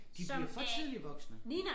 De bliver for tidligt voksne